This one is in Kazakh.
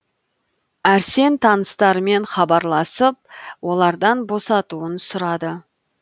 әрсен таныстарымен хабарласып олардан босатуын сұрады